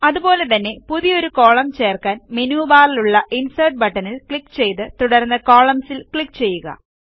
അതുപോലെ തന്നെ പുതിയൊരു കോളം ചേർക്കാൻ മെനു ബാറിലുള്ള ഇൻസെർട്ട് ബട്ടണിൽ ക്ലിക്ക് ചെയ്ത് തുടർന്ന് കോളംൻസ് ൽ ക്ലിക്ക് ചെയ്യുക